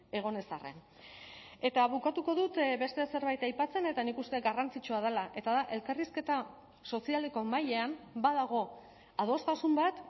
egon ez arren eta bukatuko dut beste zerbait aipatzen eta nik uste dut garrantzitsua dela eta da elkarrizketa sozialeko mailan badago adostasun bat